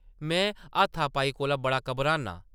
मैं हाथा-पाई कोला बड़ा घबरान्नां ।